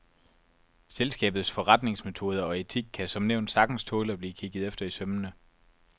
Selskabets forretningsmetoder og etik kan som nævnt sagtens tåle at blive kigget efter i sømmene.